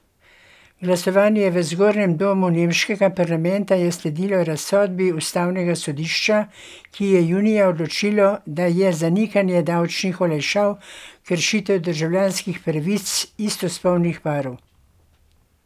Glasovanje v zgornjem domu nemškega parlamenta je sledilo razsodbi ustavnega sodišča, ki je junija odločilo, da je zanikanje davčnih olajšav kršitev državljanskih pravic istospolnih parov.